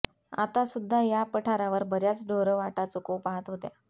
आता सुध्दा या पठारावर बर्याच ढोरं वाटा चुकवू पाहत होत्या